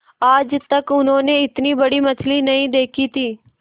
आज तक उन्होंने इतनी बड़ी मछली नहीं देखी थी